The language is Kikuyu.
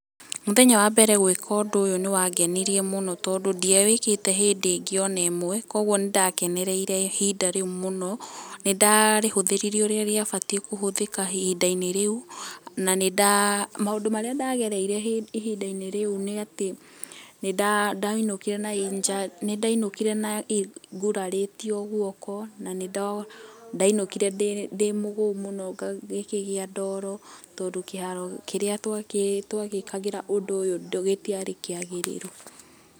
Mũthenya wambere gwĩka ũndũ ũyũ nĩ wangenirie mũno tondũ ndiawĩkĩte hĩndĩ ĩngĩ onemwe, koguo nĩ ndakenereire ihinda rĩu mũno, nĩ ndarĩhũthĩrire ũrĩa rĩabatie kũhũthĩka ihinda-inĩ rĩu, na nĩ nda maũndũ marĩa ndagereire ihinda-inĩ rĩu nĩ atĩ nĩ nda nĩ ndainũkire na nĩ ndainũkire nguraritio guoko, na nĩ ndinũkire ndĩmũgũu mũno, ngĩkĩgĩa ndoro, tondũ kĩharo kĩrĩa twagĩkagĩra ũndũ ũyũ gĩtiarĩ kĩagĩrĩru.